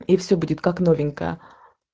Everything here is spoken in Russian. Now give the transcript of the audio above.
и все будет как новенькая